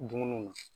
Dumuniw na